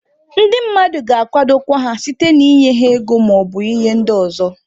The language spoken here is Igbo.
Ndị mmadụ ga-akwadokwa ha site na ịnye ha ego maọbụ ihe ndị ọzọ.